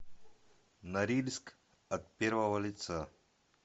норильск от первого лица